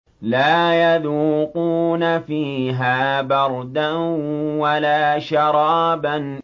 لَّا يَذُوقُونَ فِيهَا بَرْدًا وَلَا شَرَابًا